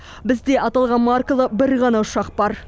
бізде аталған маркалы бір ғана ұшақ бар